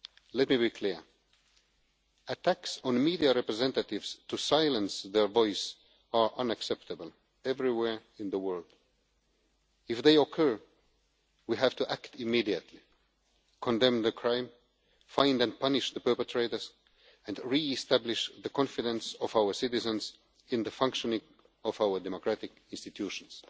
Let me be clear attacks on media representatives to silence their voices are unacceptable everywhere in the world. If they occur, we have to act immediately condemn the crime, find and punish the perpetrators and re establish the confidence of our citizens in the functioning of our democratic institutions.